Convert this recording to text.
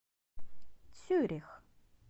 цюрих